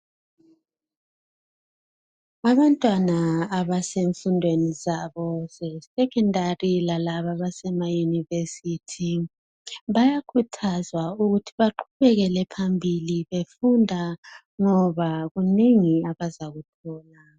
Abantwana abasemfundweni zabo zesecondary lalabo abasemayunivesithi bayakhuthazwa ukuthi baqhubekele phambili befunda ngoba kunengi abazakuthola.